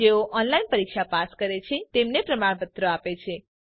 જેઓ ઓનલાઇન પરીક્ષા પાસ કરે છે તેમને પ્રમાણપત્ર આપે છે